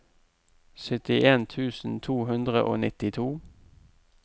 syttien tusen to hundre og nittito